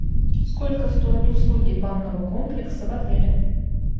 сколько стоят услуги банного комплекса в отеле